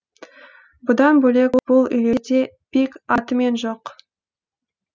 бұдан бөлек бұл үйлерде пик атымен жоқ